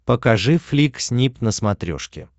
покажи флик снип на смотрешке